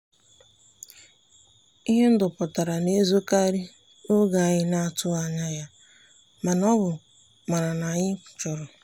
ihe ndụ pụtara na-ezokarị n'oge anyị na-atụghị anya ya ma ọ bụ mara na anyị chọrọ.